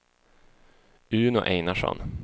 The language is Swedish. Uno Einarsson